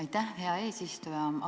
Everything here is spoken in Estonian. Aitäh, hea eesistuja!